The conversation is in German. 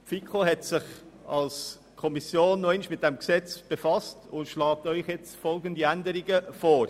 Die Fiko hat sich noch einmal mit dem Gesetz befasst und schlägt Ihnen nun folgende Änderungen vor: